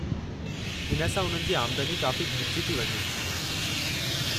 हिन सां उन्हनि जी आमदनी काफ़ी घटिजी थी वञे।